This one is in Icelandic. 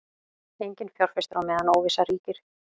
Enginn fjárfestir á meðan óvissa ríkir